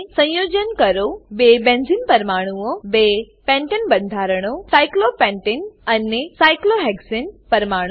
સંયોજન કરો બે બેન્ઝીન પરમાણુઓ બે પેન્ટને પેન્ટેન બંધારણો સાયક્લોપેન્ટને સાયક્લોપેન્ટેન અને સાયક્લોહેક્સાને સાયક્લોહેક્ઝેન પરમાણુઓ